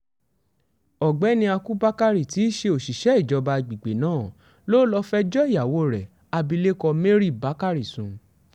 ọ̀gbẹ́ni ákú bakari tí í ṣe òṣìṣẹ́ ìjọba àgbègbè náà ló lọ́ọ́ fẹjọ́ ìyàwó rẹ̀ abilékọ mary bakari sùn